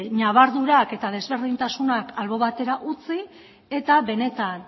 ñabardurak eta ezberdintasunak alde batera utzi eta benetan